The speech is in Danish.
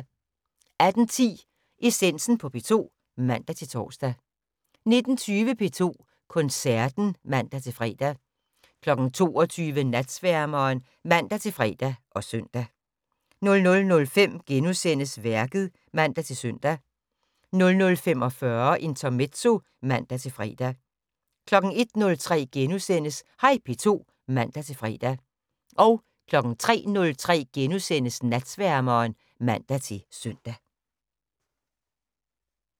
18:10: Essensen på P2 (man-tor) 19:20: P2 Koncerten (man-fre) 22:00: Natsværmeren (man-fre og søn) 00:05: Værket *(man-søn) 00:45: Intermezzo (man-fre) 01:03: Hej P2 *(man-fre) 03:03: Natsværmeren *(man-søn)